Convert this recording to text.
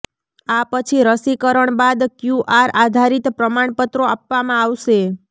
આ પછી રસીકરણ બાદ ક્યૂઆર આધારિત પ્રમાણપત્રો આપવામાં આવશે